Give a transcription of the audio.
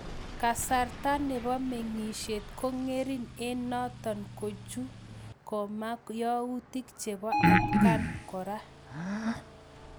Kasarta nebo mengisiet kongering eng notok kochuu koma yautik chepo atkaan koraa